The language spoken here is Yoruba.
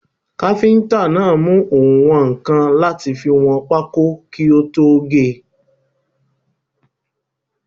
Káfíntà náà mú oùnwọ̀nkan láti fi wọn pákó kí ó tó ge.